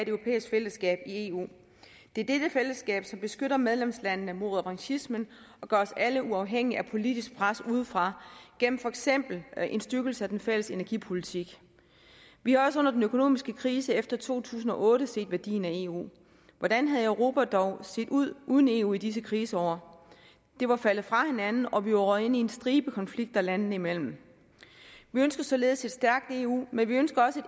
europæisk fællesskab i eu det er dette fællesskab som beskytter medlemslande mod revanchismen og gør os alle uafhængige af politisk pres udefra gennem for eksempel en styrkelse af den fælles energipolitik vi har også under den økonomiske krise efter to tusind og otte set værdien af eu hvordan havde europa dog set ud uden eu i disse kriseår det var faldet fra hinanden og vi var røget ind i en stribe konflikter landene imellem vi ønsker således et stærkt eu men vi ønsker også